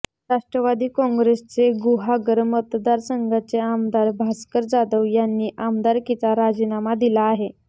राष्ट्रवादी काँग्रेसचे गुहागर मतदारसंघाचे आमदार भास्कर जाधव यांनी आमदारकीचा राजीनामा दिला आहे